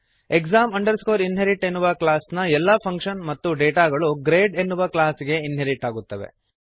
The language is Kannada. exam inherit ಎನ್ನುವ ಕ್ಲಾಸ್ನ ಎಲ್ಲ ಫಂಕ್ಶನ್ ಮತ್ತು ಡೇಟಾಗಳು ಗ್ರೇಡ್ ಎನ್ನುವ ಕ್ಲಾಸ್ ಗೆ ಇನ್ಹೆರಿಟ್ ಆಗುತ್ತವೆ